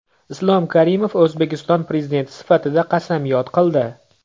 Islom Karimov O‘zbekiston Prezidenti sifatida qasamyod qildi.